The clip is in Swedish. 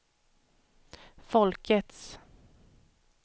folkets